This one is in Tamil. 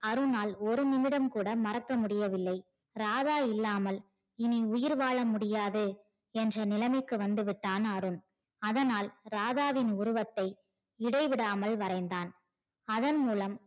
அருணால் ஒரு நிமிடம் கூட மறக்க முடியவில்லை ராதா இல்லாமல் உயிர் வாழ முடியாது என்ற நிலைமைக்கு வந்து விட்டான் அருண் அதனால் ராதாவின் உருவத்தை இடைவிடாமல் வரைந்தான் அதன் மூலம்